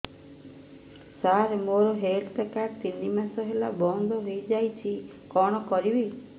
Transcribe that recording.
ସାର ମୋର health card ତିନି ମାସ ହେଲା ବନ୍ଦ ହେଇଯାଇଛି କଣ କରିବି